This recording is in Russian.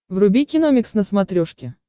вруби киномикс на смотрешке